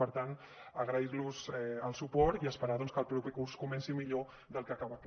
per tant agrair los el suport i esperar doncs que el proper curs comenci millor del que acaba aquest